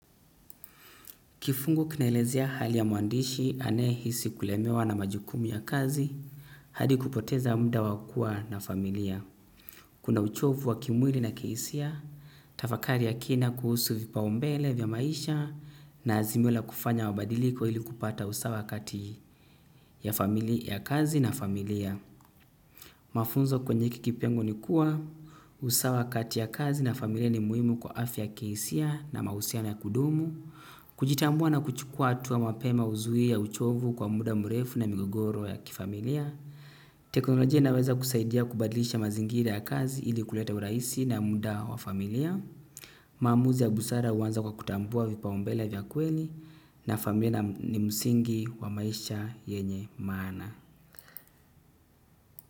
Kifungu kinaelezea hali ya mwandishi anayehisi kulemewa na majukumu ya kazi, hadi kupoteza muda wa kuwa na familia. Kuna uchovu wa kimwili na kihisia, tafakari ya kina kuhusu vipaumbele vya maisha na azimio la kufanya mabadiliko ili kupata usawa kati ya kazi na familia. Mafunzo kwenye hiki kipengee ni kuwa usawa kati ya kazi na familia ni muhimu kwa afya ya kihisia na mahusiano ya kudumu kujitambua na kuchukua hatua mapema huzuia uchovu kwa muda mrefu na migogoro ya kifamilia teknolojia inaweza kusaidia kubadilisha mazingira ya kazi ili kuleta urahisi na muda wa familia maamuzi ya busara huanza kwa kutambua vipaumbele vya kweli na familia ni msingi wa maisha yenye maana.